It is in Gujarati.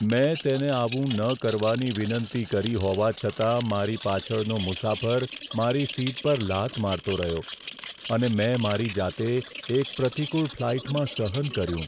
મેં તેને આવું ન કરવાની વિનંતી કરી હોવા છતાં મારી પાછળનો મુસાફર મારી સીટ પર લાત મારતો રહ્યો અને મેં મારી જાતે એક પ્રતિકુળ ફ્લાઈટમાં સહન કર્યું.